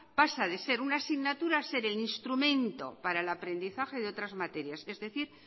pasa de ser una asignatura a ser el instrumento para el aprendizaje de otras materias es decir